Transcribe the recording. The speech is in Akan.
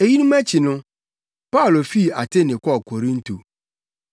Eyinom akyi no, Paulo fii Atene kɔɔ Korinto.